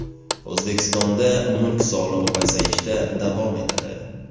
O‘zbekistonda mulk solig‘i pasayishda davom etadi.